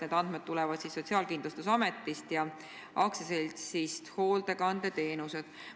Need andmed tulevad Sotsiaalkindlustusametist ja AS-ist Hoolekandeteenused.